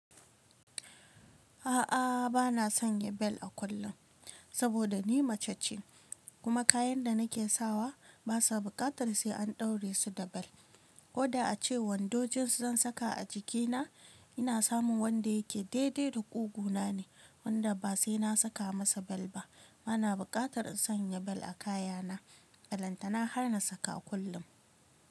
A'a, bana sanya bel a kullum, saboda ni mace ce kuma kayan da nake sawa ba su buƙatar sai an ɗaure su da bel. Ko da ace wando jins zan saka a jikina, ina samun wanda yake daidai da ƙugu na ne wanda ba sai na saka masa bel ba. Bana buƙatar in sanya bel a kayana. A balantana har na saka kullum.